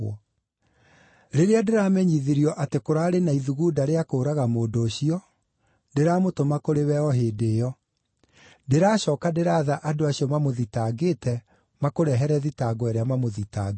Rĩrĩa ndĩramenyithirio atĩ kũraarĩ na ithugunda rĩa kũũraga mũndũ ũcio, ndĩramũtũma kũrĩ we o hĩndĩ ĩyo. Ndĩracooka ndĩraatha andũ acio mamũthitangĩte makũrehere thitango ĩrĩa mamũthitangĩire.